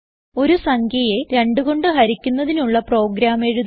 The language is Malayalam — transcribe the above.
ഒരു സംഖ്യയെ 2 കൊണ്ട് ഹരിക്കുന്നതിനുള്ള പ്രോഗ്രാം എഴുതുന്നു